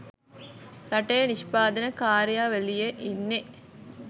රටේ නිෂ්පාදන කාර්යාවලියේ ඉන්නේ